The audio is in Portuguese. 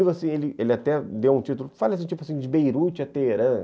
Ele ele até deu um título, fala assim, tipo assim, de Beirute a Teherã.